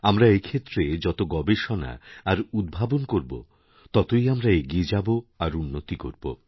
আমরা এক্ষেত্রে যত গবেষণা আর উদ্ভাবনকরব ততই আমরা এগিয়ে যাব আর উন্নতি করব